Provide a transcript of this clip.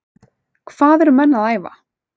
Hvað eru menn að æfa?